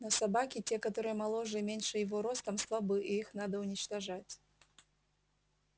но собаки те которые моложе и меньше его ростом слабы и их надо уничтожать